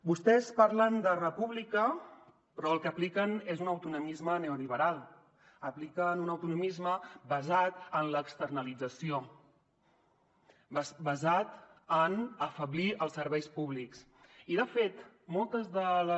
vostès parlen de república però el que apliquen és un autonomisme neoliberal apliquen un autonomisme basat en l’externalització basat en afeblir els serveis públics i de fet moltes de les